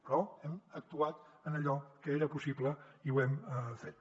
però hem actuat en allò que era possible i ho hem fet